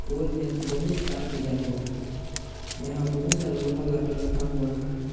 पोल में बहुत से तार भेजा हुआ है यहां बहुत सारे लोहा लकड़ रखा हुआ है।